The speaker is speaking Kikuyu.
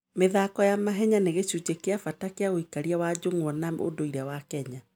mĩthako ya mahenya nĩ gĩcunjĩ kĩa bata kĩa ũikarĩri wa njũng'wa na ũndũire wa Kenya.